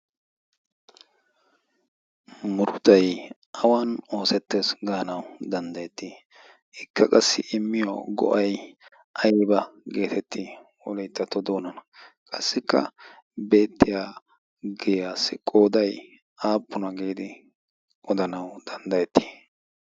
murutay awan oosettees gaanau danddayettii ikka qassi immiyo go'ai ayba geetettii wolittatto doonana qassikka beettiya giyaassi qooday aappuna giidi odanawu danddayettii?